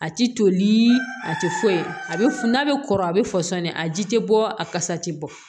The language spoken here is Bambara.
A ti toli a ti foyi a bɛ f n'a bɛ kɔrɔ a bɛ fɔsɔn dɛ a ji tɛ bɔ a kasa tɛ bɔ